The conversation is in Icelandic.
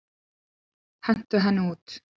Hentu henni út!